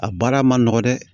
A baara ma nɔgɔ dɛ